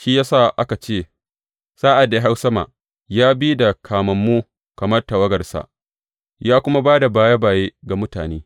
Shi ya sa aka ce, Sa’ad da ya hau sama, ya bi da kamammu kamar tawagarsa ya kuma ba da baye baye ga mutane.